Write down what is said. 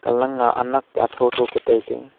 alang aa anak atho atho ka tailey.